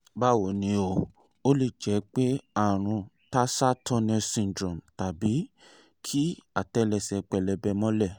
báwo ni o? ó lè jẹ́ pé àrùn tarsal tunnel syndrome tàbí kí àtẹ́lẹsẹ̀ pẹlẹbẹ mọ́lẹ̀